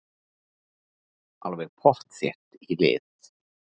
Alveg pottþétt í lit.